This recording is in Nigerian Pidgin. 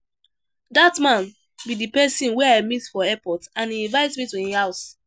Dat man be the person wey I meet for airport and he invite me to im house